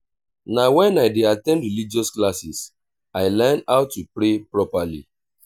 na wen i dey at ten d religious classes i learn how to pray properly.